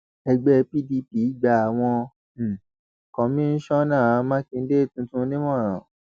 ẹgbẹ pdp gba àwọn um kọmíṣánná mákindè tuntun nímọràn